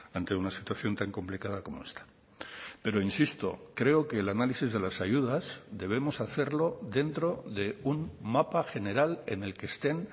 ante una situación tan complicada como esta pero insisto creo que el análisis de las ayudas debemos hacerlo dentro de un mapa general en el que estén